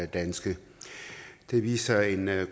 danske det viser en